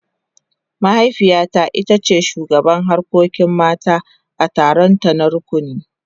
Mahaifiyata ita ce shugabar harkokin mata a taronta na rukuni.